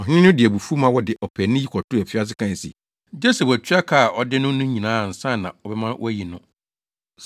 Ɔhene no de abufuw ma wɔde ɔpaani yi kɔtoo afiase kae se, gye sɛ watua ka a ɔde no no nyinaa ansa na ɔbɛma wɔayi no.